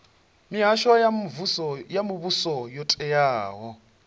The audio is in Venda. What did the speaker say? mihasho ya muvhuso yo teaho